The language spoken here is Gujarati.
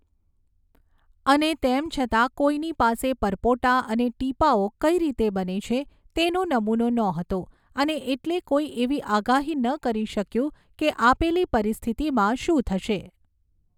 અને તેમ છતાં કોઈની પાસે પરપોટા અને ટીપાંઓ કઈ રીતે બને છે તેનો નમૂનો નહોતો અને એટલે કોઈ એવી આગાહી ન કરી શક્યું કે આપેલી પરિસ્થિતિમાં શું થશે.